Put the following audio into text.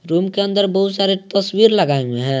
Room के अंदर बहुत सारे तस्वीर लगाए हुई हैं।